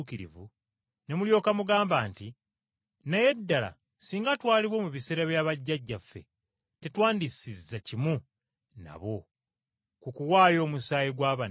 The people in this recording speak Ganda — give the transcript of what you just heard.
ne mulyoka mugamba nti, ‘Naye ddala singa twaliwo mu biseera bya bajjajjaffe tetwandisizza kimu nabo mu kuyiwa omusaayi gw’abannabbi.’